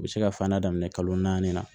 U bɛ se ka fan da daminɛ kalo naani na